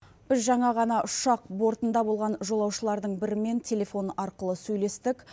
біз жаңа ғана ұшақ бортында болған жолаушылардың бірімен телефон арқылы сөйлестік